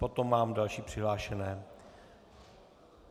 Potom mám další přihlášené.